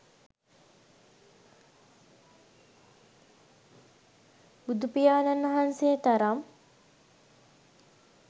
බුදුපියාණන් වහන්සේ තරම්